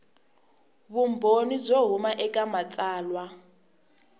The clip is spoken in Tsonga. vumbhoni byo huma eka matsalwa